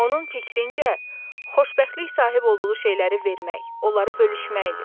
Onun fikrincə, xoşbəxtlik sahib olduğu şeyləri vermək, onları bölüşmək idi.